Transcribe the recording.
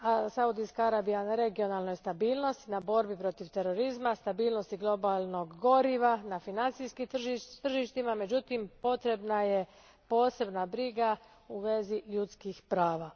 Saudijska Arabija radi na regionalnoj stabilnost, borbi protiv terorizma, stabilnosti globalnog goriva, financijskim tržištima, međutim potrebna je posebna briga u vezi ljudskih prava.